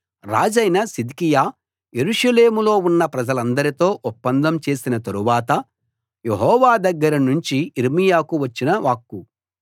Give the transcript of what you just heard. రాజైన సిద్కియా యెరూషలేములో ఉన్న ప్రజలందరితో ఒప్పందం చేసిన తరువాత యెహోవా దగ్గర నుంచి యిర్మీయాకు వచ్చిన వాక్కు